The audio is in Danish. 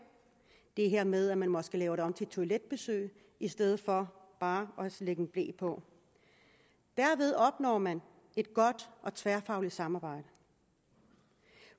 i det her med at man måske laver det om til toiletbesøg i stedet for bare lægge en ble på derved opnår man et godt og tværfagligt samarbejde